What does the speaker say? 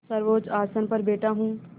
सर्वोच्च आसन पर बैठा हूँ